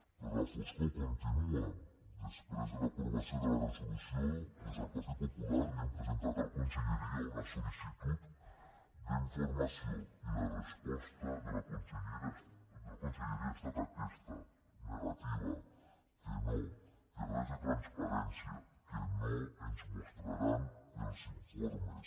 però la foscor continua després de l’aprovació de la resolució des del partit popular li hem presentat a la conselleria una sol·licitud d’informació i la resposta de la conselleria ha estat aquesta negativa que no que res de transparència que no ens mostraran els informes